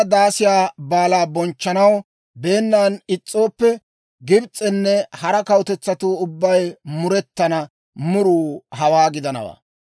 Daasiyaa Baalaa bonchchanaw beennan is's'iyaa Gibs'enne hara kawutetsatuu ubbay murettana muruu hawaa gidanawaa.